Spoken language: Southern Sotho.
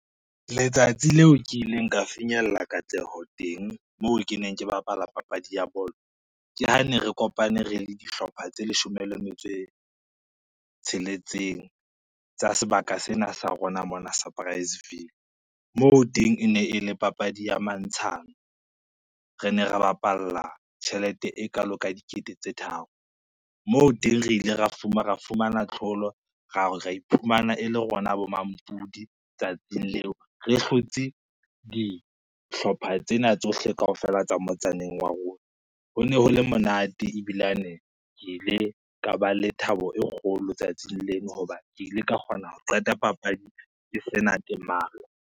Letsatsi leo kileng ka finyella katleho teng, moo ke neng ke bapala papadi ya bolo, ke ha ne re kopane re le dihlopha tse leshome le metso e tsheletseng tsa sebaka sena sa rona mona sa moo teng e ne e le papadi ya mantshana. Re ne ra bapalla tjhelete e kalo ka dikete tse tharo, moo teng re ile ra fumana tlholo, ra iphumana e le rona bo mampudi tsatsing leo re hlotse dihlopha tsena tsohle kaofela tsa motsaneng wa rona. Ho ne ho le monate ebilane ke ile ka ba le thabo e kgolo tsatsing leno ho ba ke ile ka kgona ho qeta papadi ke sena temalo.